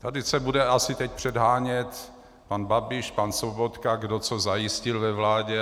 Tady se bude asi teď předhánět pan Babiš, pan Sobotka, kdo co zajistil ve vládě.